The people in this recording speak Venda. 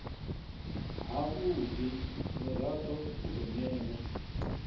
havhudi murado u do newa